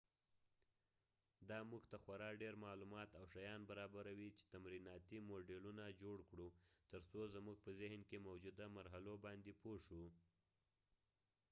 دا مونږ ته خورا ډیر معلومات او شیان برابروي چې تمریناتی موډیلونه جوړ کړو تر څو زمونږ په ذهن کې موجوده مرحلو باندی پوه شو